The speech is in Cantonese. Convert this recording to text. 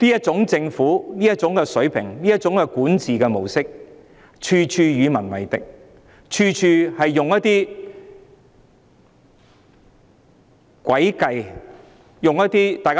政府這種水平、這種管治模式，處處與民為敵，處處使用一些詭計來達到目的。